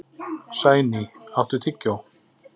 Sæný, áttu tyggjó?